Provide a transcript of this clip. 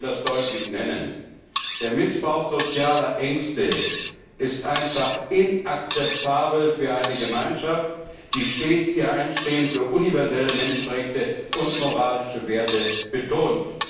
Ich will das deutlich hervorheben Der Missbrauch sozialer Ängste ist einfach inakzeptabel für eine Gemeinschaft, die stets ihr Einstehen für universelle Menschenrechte und moralische Werte betont.